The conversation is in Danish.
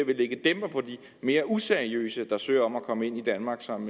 mere useriøse der søger om at komme ind i danmark som